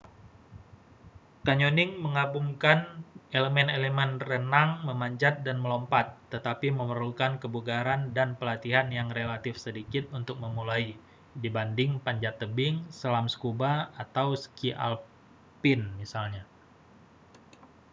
canyoning menggabungkan elemen-elemen renang memanjat dan melompat--tetapi memerlukan kebugaran dan pelatihan yang relatif sedikit untuk memulai dibanding panjat tebing selam scuba atau ski alpine misalnya